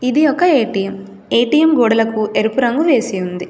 ఇది ఒక A T M A T M గోడలకు ఎరుపు రంగు వేసి ఉంది.